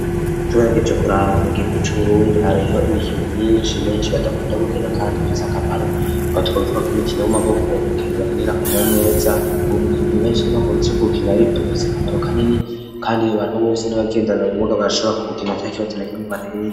Tubarageje kuraba mu gihugu cu Burundi hariho imikino myinshi benshi badakunda kugenda kandi ifise akamaro .Aho twovuga nk'umukino w'amaboko bakenera akamaro neza. uwo mukino benshi nibakunzeye kubukina ufise akamaro kanini kandi abantu bose n'abagendana ubumuga barashobora kuwukina atakintu kimwe ubateye.